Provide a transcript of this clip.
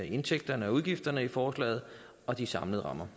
indtægterne og udgifterne i forslaget og de samlede rammer